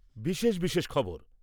বিশেষ বিশেষ খবর